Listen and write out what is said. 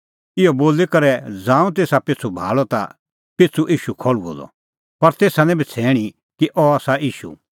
इहअ बोली करै ज़ांऊं तेसा पिछ़ू भाल़अ ता पिछ़ू त ईशू खल़्हुअ द पर तेसा निं बछ़ैणीं कि अह आसा ईशू